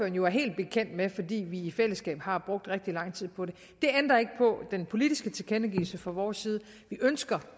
jo er helt bekendt med fordi vi i fællesskab har brugt rigtig lang tid på det det ændrer ikke på den politiske tilkendegivelse fra vores side vi ønsker